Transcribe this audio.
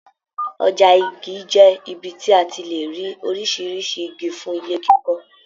Ọja Igi jẹ ibi tí a tí le rí oríṣiríṣi Igi fún ilé kíkọ.